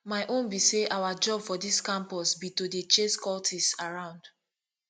my own be say our job for dis campus be to dey chase cultists around